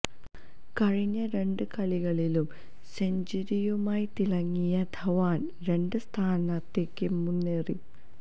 കഴിഞ്ഞ രണ്ട് കളികളിലും സെഞ്ചുറിയുമായി തിളങ്ങിയ ധവാൻ രണ്ടാം സ്ഥാനത്തേക്ക് മുന്നേറി